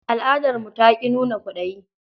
Al'adarmu ta ƙi nuna kwaɗayi.